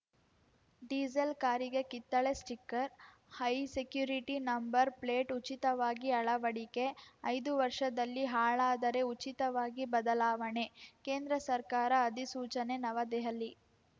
diesel ಕಾರಿಗೆ ಕಿತ್ತಳೆ sticker high security number plate ಉಚಿತವಾಗಿ ಅಳವಡಿಕೆ ಐದು ವರ್ಷದಲ್ಲಿ ಹಾಳಾದರೆ ಉಚಿತವಾಗಿ ಬದಲಾವಣೆ ಕೇಂದ್ರ ಸರ್ಕಾರ ಅಧಿಸೂಚನೆ ನವದೆಹಲಿ